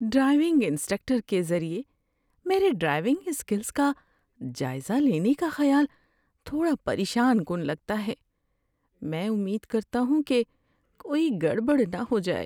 Driving instructor کے ذریعہ میرے ڈرائیونگ اسکلز کا جائزہ لینے کا خیال تھوڑا پریشان کن لگتا ہے۔ میں امید کرتا ہوں کہ کوئی گڑبڑ نہ ہو جائے۔